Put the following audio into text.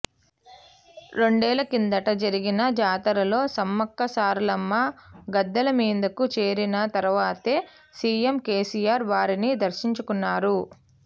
రెండేళ్ల కిందట జరిగిన జాతరలో సమ్మక్కసారలమ్మ గద్దెల మీదకు చేరిన తర్వాతే సిఎం కెసిఆర్ వారిని దర్శించుకున్నారు